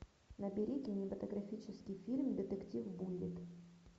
набери кинематографический фильм детектив буллитт